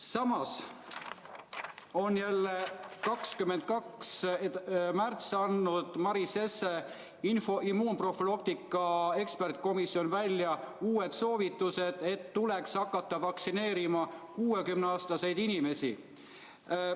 Samas on 22. märtsil andnud Maris Jesse immunoprofülaktika ekspertkomisjon välja uued soovitused, et tuleks hakata vaktsineerima 60-aastaseid inimesi.